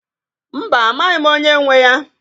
Mba, amaghị m onye nwe ya.